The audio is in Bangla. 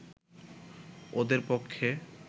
ওদের পক্ষে